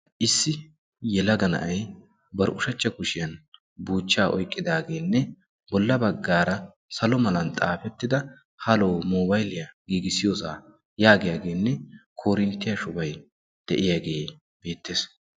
Issi yelaga na'ay bar ushshachcha kushiyaan buuchcha oyqqidaagenne bolla baggaara salo mala xaafetida Halo mobayliya giigissiyoossa yaagiyaagenne koorinttiya shubay de'iyaage beettees.